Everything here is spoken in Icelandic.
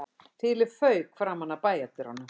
Þilið fauk framan af bæjardyrunum